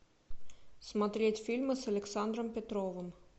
смотреть фильмы с александром петровым